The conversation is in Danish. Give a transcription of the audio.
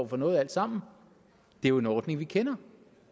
for noget alt sammen det er jo en ordning vi kender